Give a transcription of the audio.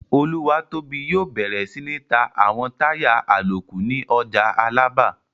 Olúwatóbi yóò bẹ̀rẹ̀ sí ní ta àwọn táyà àlòkù ní ọjà Alábà